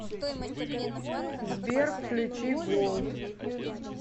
сбер включи голд